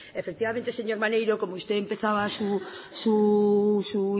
efectivamente señor maneiro como usted empezaba su